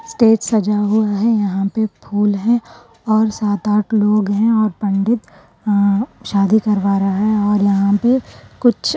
Stage سجا ہوا ہے۔ یہاں پہ پھول ہیں۔ اور سات آٹھ لوگ ہیں اور پنڈت آ شادی کروا رہا ہے اور یہاں پہ کچھ --